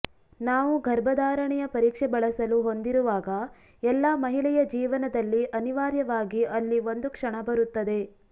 ನಾವು ಗರ್ಭಧಾರಣೆಯ ಪರೀಕ್ಷೆ ಬಳಸಲು ಹೊಂದಿರುವಾಗ ಎಲ್ಲಾ ಮಹಿಳೆಯ ಜೀವನದಲ್ಲಿ ಅನಿವಾರ್ಯವಾಗಿ ಅಲ್ಲಿ ಒಂದು ಕ್ಷಣ ಬರುತ್ತದೆ